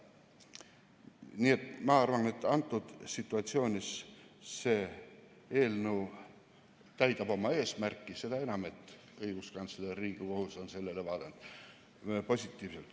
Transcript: Nii et ma arvan, et antud situatsioonis see eelnõu täidab oma eesmärki, seda enam, et õiguskantsler ja Riigikohus on sellele vaadanud positiivselt.